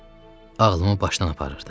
Ağlımı başından aparırdı.